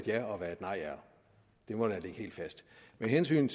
ja og et nej det må ligge helt fast med hensyn